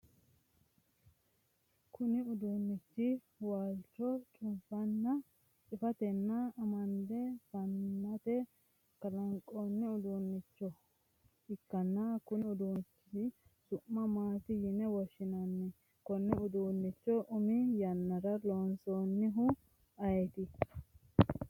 kuni uduunnichi waalcho cufatenna amande fanate kaa'lanno uduunnicho ikkanna konni uduunnichi su'ma maati yini woshshinani? konne uduunnicho umi yannara loosinohu ayeeti?